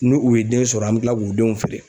Ni u ye den sɔrɔ an bɛ tila k'u denw feere.